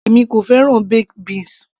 èmi kò fẹ́ràn baked beans